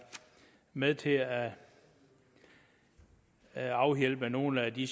med til at at afhjælpe nogle af de